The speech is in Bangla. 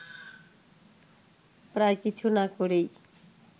প্রায় কিছু না করেই